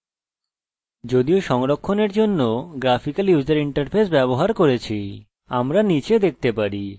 আমরা নীচে দেখতে পারি আমাদের কাছে ক্ষেত্র ধরন কোলেশন গুণাবলী উদাহরণস্বরূপ null তথ্য আছে